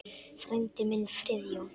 Frændi minn, Friðjón